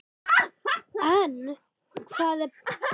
En hvað er best við Heilsustofnun?